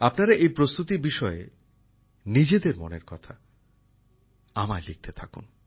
আপনারা এই প্রস্তুতির বিষয়ে নিজেদের মনের কথা আমায় লিখতে থাকুন